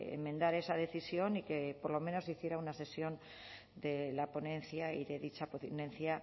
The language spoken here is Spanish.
enmendar esa decisión y que por lo menos se hiciera una sesión de la ponencia y de dicha ponencia